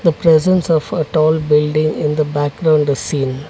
the presence of a tall building in the background the scene.